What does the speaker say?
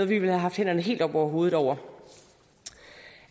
ville have haft hænderne helt oppe over hovedet over